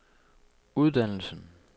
uddannelsen